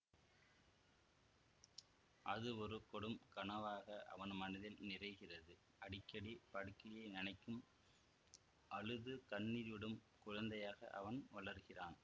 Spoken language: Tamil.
அது ஒரு கொடும் கனவாக அவன் மனதில் நிறைகிறது அடிக்கடி படுக்கையை நனைக்கும் அழுது கண்ணீர் விடும் குழந்தையாக அவன் வளர்கிறான்